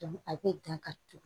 a bɛ dan ka turu